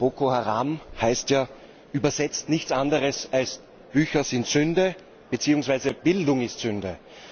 Boko Haram heißt ja übersetzt nichts anderes als Bücher sind Sünde beziehungsweise Bildung ist Sünde.